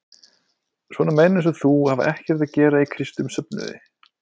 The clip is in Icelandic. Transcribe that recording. Svona menn eins og þú hafa ekkert að gera í kristnum söfnuði.